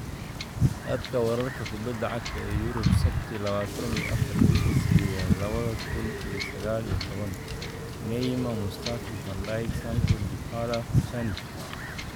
Khadka wararka kubbada cagta ee Yurub Sabti lawatan iyo afar bishi sidedaad lawadha kun iyo saqal iyo tawan : Neymar, Mustafi, Van Dijk, Sanchez, Dybala, Pjanic